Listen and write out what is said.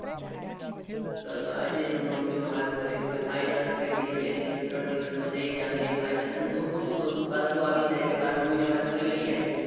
તો તો આજે જ હું મમ્મીને વાત કરી દઉં કે ફાઇનલ જ કરી દઈએ બે દિવસ ત્રણ દિવસમાં જઈ જ આવીએ. અને હું શું કઉં છું કાલે તું આવીજ જ એટલે કાલે મમ્મીને વાત કરી દઈએ ને.